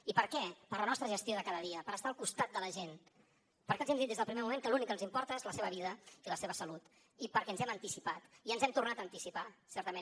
i per què per la nostra gestió de cada dia per estar al costat de la gent perquè els hem dit des del primer moment que l’únic que ens importa és la seva vida i la seva salut i perquè ens hem anticipat i ens hem tornat a anticipar certament